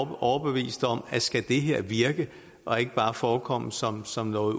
er overbevist om at skal det her virke og ikke bare forekomme som som noget